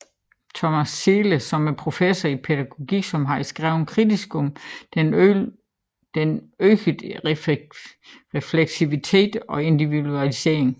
Thomas Ziehe som er professor i pædagogik som har skrevet kritisk om den øgede refleksivitet og individualisering